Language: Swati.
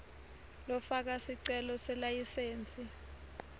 lofaka sicelo selayisensi